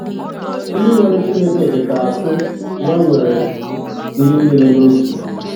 Onye nwere Chineke dịka akụ ya nwere ihe niile n’Otu.